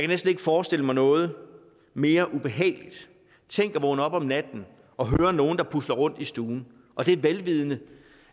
næsten ikke forestille mig noget mere ubehageligt tænk at vågne op om natten og høre nogle der pusler rundt i stuen og det er vel